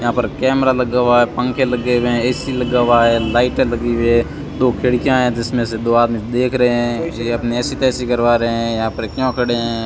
यहां पर कैमरा लगा हुआ है पंखे लगे हुए हैं ए_सी लगा हुआ हैं लाइटें लगी हुई है दो खिड़कियां हैं जिसमें से दो आदमी देख रहे हैं ये अपनी ऐसी तैसी करवा रहे हैं यहां पर क्यों खड़े हैं।